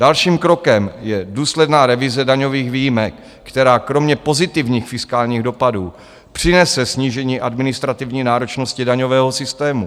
Dalším krokem je důsledná revize daňových výjimek, která kromě pozitivních fiskálních dopadů přinese snížení administrativní náročnosti daňového systému.